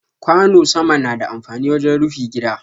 Kwano sama na da amfani wajen rufi gida.